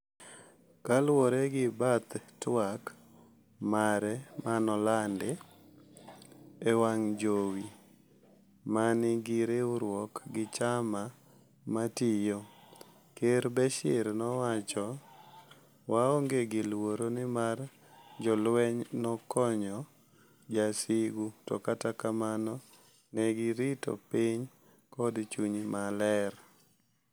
Kaluwore gi bath twak mare manolandi ewang' jowi manigi riwruok gi chama matiyo, Ker Bashir nowacho," waonge gi luoro nimar jolweny nokokonyo jowasigu to kata kamano negirito piny kod chung' mare.